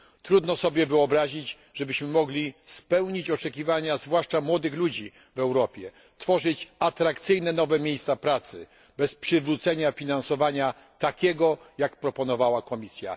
Trudno sobie wyobrazić, żebyśmy mogli spełnić oczekiwania zwłaszcza młodych ludzi w Europie, tworzyć atrakcyjne, nowe miejsca pracy bez przywrócenia finansowania takiego, jak proponowała Komisja.